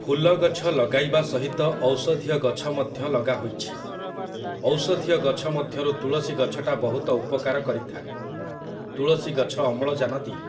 ଫୁଲଗଛ ଲଗାଇବା ସହିତ ଔଷଧୀୟ ଗଛ ମଧ୍ୟ ଲଗାହୋଇଛି । ଔଷଧୀୟ ଗଛ ମଧ୍ୟରୁ ତୁଳସୀ ଗଛଟା ବହୁତ ଉପକାର କରିଥାଏ । ତୁଳସୀ ଗଛ ଅମ୍ଳଜାନ ଦିଏ ।